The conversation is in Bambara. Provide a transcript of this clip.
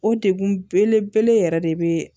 O degun belebele yɛrɛ de be